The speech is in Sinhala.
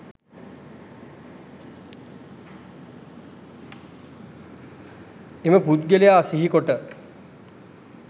එම පුද්ගලයා සිහි කොට